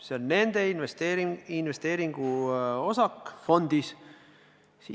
See on nende investeeringuosak fondis.